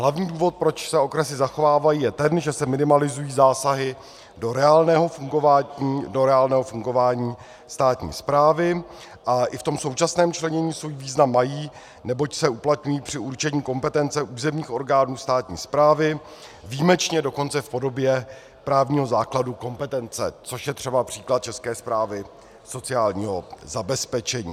Hlavní důvod, proč se okresy zachovávají, je ten, že se minimalizují zásahy do reálného fungování státní správy a i v tom současném členění svůj význam mají, neboť se uplatňují při určení kompetence územních orgánů státní správy, výjimečně dokonce v podobě právního základu kompetence, což je třeba příklad České správy sociálního zabezpečení.